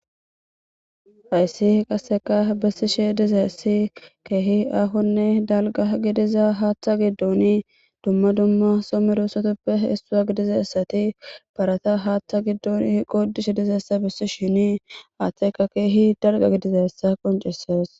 Hayiss qasekka besishshe dizayiss kehi ahonne daligga gidizza haththa giddonne dumma dumma Soo medosatappe isuwa gidizayissatti parata haththa giddonni godishshe dizayissa besishshenni haththayikka kehi daligga gidizayissa besses.